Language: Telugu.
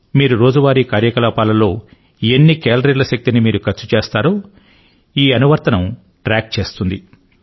మీరోజు వారీ కార్యకలాపాల్లో ఎన్ని కేలరీల శక్తిని మీరు ఖర్చు చేస్తారో ఈ అనువర్తనం ట్రాక్ చేస్తుంది